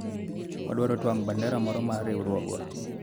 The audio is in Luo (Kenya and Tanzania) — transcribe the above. wadwaro twang'o bandera moro mar riwruogwa